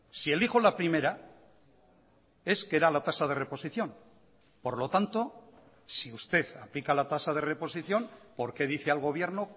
si elijo la primera es que era la tasa de reposición por lo tanto si usted aplica la tasa de reposición por qué dice al gobierno